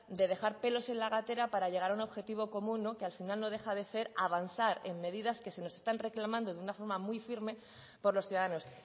de dejar pelos en la gatera para llegar a un objetivo común que al final no deja de ser avanzar en medidas que se nos están reclamando de una forma muy firme por los ciudadanos